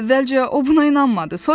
Əvvəlcə o buna inanmadı.